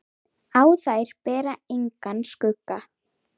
Á þær ber engan skugga.